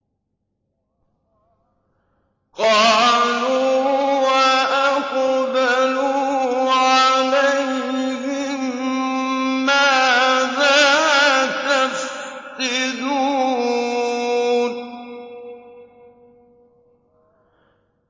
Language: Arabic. قَالُوا وَأَقْبَلُوا عَلَيْهِم مَّاذَا تَفْقِدُونَ